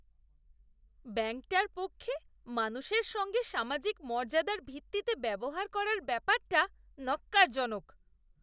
ব্যাঙ্কটার পক্ষে মানুষের সঙ্গে সামাজিক মর্যাদার ভিত্তিতে ব্যবহার করার ব্যাপারটা ন্যক্কারজনক।